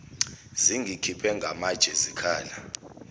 zingikhiphe ngamatshe zikhala